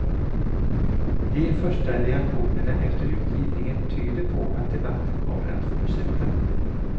De första reaktionerna efter utgivningen tyder på att debatten kommer att fortsätta.